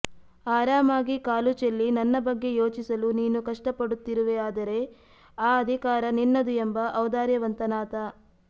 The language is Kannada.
ಆರಾಮಾಗಿ ಕಾಲುಚೆಲ್ಲಿ ನನ್ನ ಬಗ್ಗೆ ಯೋಚಿಸಲು ನೀನು ಕಷ್ಟಪಡುತ್ತಿರುವೆಯಾದರೆ ಆ ಅಧಿಕಾರ ನಿನ್ನದು ಎಂಬ ಔದಾರ್ಯವಂತನಾತ